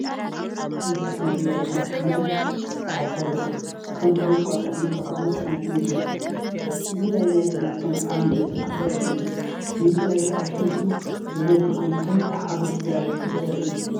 ምስ ጽዕነት ዝመልአ ታንኪ ማይ ዝተኣሳሰረ ዶብ ከም ዶብ እንቋቑሖን ዝተፈላለየ ጽዕነትን ይረአ። እዚ ናይ ማይ ጽዕነት ከም ዓቢ ዕድል ክረአ ይኽእል እዩ፣ ድምጺ ናይቲ ኣብቲ ምስሊ ዝነብር ኮይኑ ከም ሓጎስ ስድራቤት ክረአ ይኽእል እዩ።